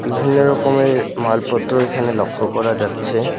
ভিন্ন রকমের মালপত্র এখানে লক্ষ্য করা যাচ্ছে।